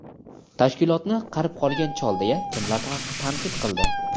Tashkilotni "qarib qolgan chol" deya kimlar tanqid qildi?.